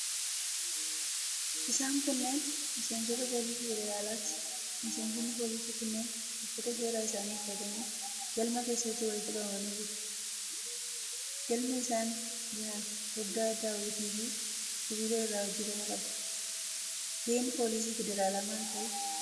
Isaan kunneen miseensota poolisii federaalaati. Miseensonni poolisii kunneen uffata seeraa isaanii uffatanii galma keessatti walitti qabamanii jiru. Galmi isaan keessa jiran foddaa daawwitiifi sibiila irraa hojjetame qaba. Gaheen poolisii federaalaa maal fa'i?